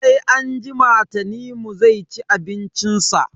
Sai anjima Tanimu zai ci abincin sa.